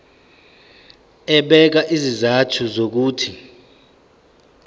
ebeka izizathu zokuthi